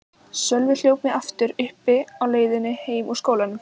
Sölvi hljóp mig aftur uppi á leiðinni heim úr skólanum.